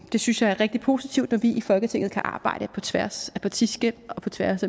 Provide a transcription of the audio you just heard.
det synes jeg er rigtig positivt når vi i folketinget kan arbejde på tværs af partiskel og tværs